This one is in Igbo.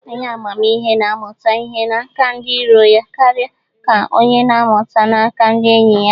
Onye amamihe na-amụta ihe n'aka ndị iro ya karịa ka onye na-amụta n'aka ndị enyi ya.